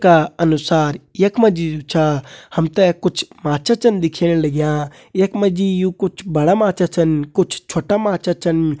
का अनुसार यख मा जी जु छा हम ते कुछ माछा छन दिखेण लग्यां यख मा जी यु कुछ बड़ा माछा छन कुछ छोटा माछा छन।